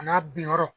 A n'a bin yɔrɔ